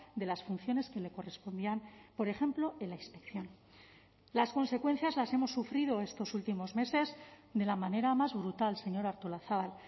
de las funciones que le correspondían por ejemplo en la inspección las consecuencias las hemos sufrido estos últimos meses de la manera más brutal señora artolazabal